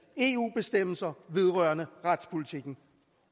eu bestemmelser vedrørende retspolitikken